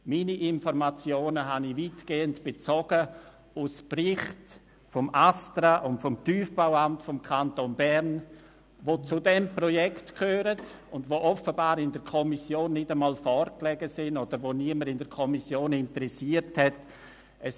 Meine Informationen habe ich weitgehend aus Berichten des ASTRA und des Tiefbauamtes des Kantons Bern (TBA) bezogen, die zu diesem Projekt gehören und offenbar der Kommission nicht einmal vorlagen oder die niemanden in der Kommission interessiert hatten.